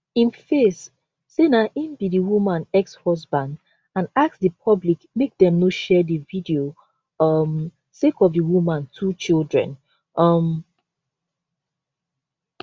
im face say na im be di woman exhusband and ask di public make dem no share di video um sake of di woman two children um